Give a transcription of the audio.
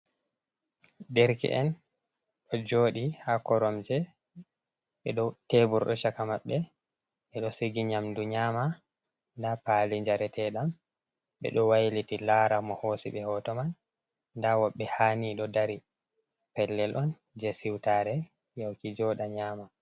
Derke'en ɗo joɗi ha koromje ɓeɗo tebur ɗo chaka maɓbe, ɓeɗo sigi nyamdu nyama, da pali jare teɗam, ɓeɗo wailiti lara mo hosi ɓe hoto man, nda woɓe haani ɗo dari, pellel on je siutare yahuki joɗa nyama.